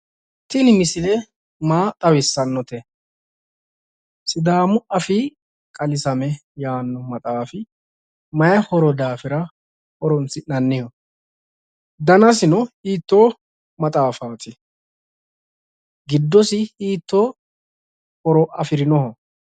tinni misilie maa xawissaannote sidaamu afii qaaliisamme yaanno maxaafi mayi horo daafira danasino hiittoho gidoosi mayi horo afirino?